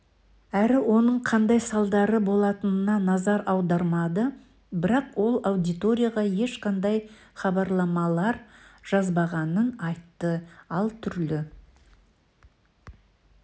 әрі оның қандай салдары болатынына назар аудармады бірақ ол аудиторияға ешқандай хабарламалар жазбағанын айтты ал түрлі